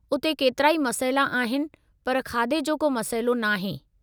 उते केतिराई मसइला आहिनि पर खाधे जो को मसइलो नाहे!